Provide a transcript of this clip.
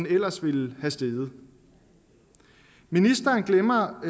ellers ville være steget ministeren glemmer